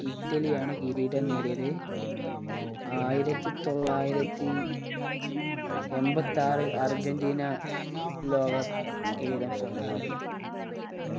ഇറ്റലിയാണ് കിരീടം നേടിയത് ആയിരത്തി തൊള്ളായിരത്തി എമ്പത്താറിൽ അർജന്റീന ലോക കിരീടം സ്വന്തമാക്കി